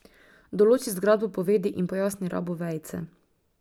Določi zgradbo povedi in pojasni rabo vejice.